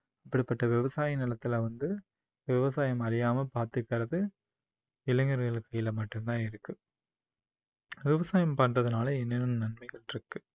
இப்படிப்பட்ட விவசாய நிலத்துல வந்து விவசாயம் அழியாம பாத்துக்குறது இளைஞர்கள் கையில மட்டும் தான் இருக்கு விவசாயம் பண்றதுனால என்னென்ன நன்மைகள் இருக்கு